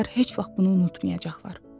Onlar heç vaxt bunu unutmayacaqlar.